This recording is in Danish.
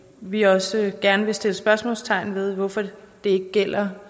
vi også gerne vil sætte spørgsmålstegn ved hvorfor det ikke gælder